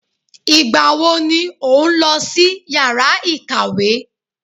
Ìgbà wo ni òun lọ sí yàrá ìkàwé?